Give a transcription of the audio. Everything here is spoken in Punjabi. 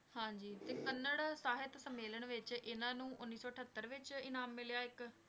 ਹਾਂਜੀ ਤੇ ਕੰਨੜ ਸਾਹਿਤ ਸੰਮੇਲਨ ਵਿੱਚ ਇਹਨਾਂ ਨੂੰ ਉੱਨੀ ਸੌ ਅਠੱਤਰ ਵਿੱਚ ਇਨਾਮ ਮਿਲਿਆ ਇੱਕ।